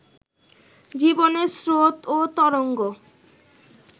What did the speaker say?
জীবনের স্রোত ও তরঙ্গ